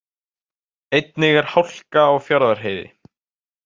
Einnig er hálka á Fjarðarheiði